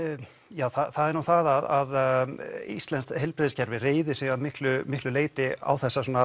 þér það er nú það að íslenskt heilbrigðiskerfi reiðir sig að miklu miklu leyti á þessa sem